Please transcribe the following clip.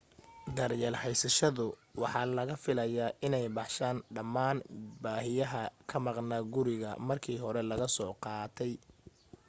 daryeelka haysashadu waxa laga filayaa inay baxshaan dhammaan baahiyaha ka maqnaa gurigii markii hore laga soo qaatay